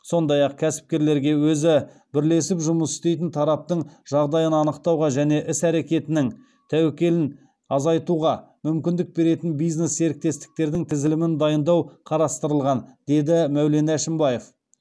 сондай ақ кәсіпкерлерге өзі бірлесіп жұмыс істейтін тараптың жағдайын анықтауға және іс әрекетінің тәуекелін азайтуға мүмкіндік беретін бизнес серіктестердің тізілімін дайындау қарастырылған деді мәулен әшімбаев